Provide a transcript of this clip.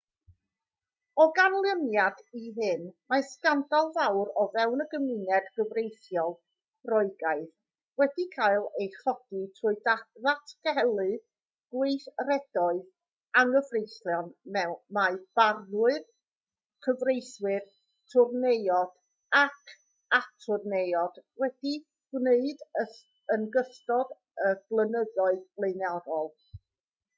o ganlyniad i hyn mae sgandal fawr o fewn y gymuned gyfreithiol roegaidd wedi cael ei chodi trwy ddatgelu gweithredoedd anghyfreithlon mae barnwyr cyfreithwyr twrneiod ac atwrneiod wedi'u gwneud yn ystod y blynyddoedd blaenorol